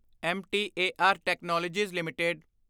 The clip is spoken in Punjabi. M T A R technologies LTD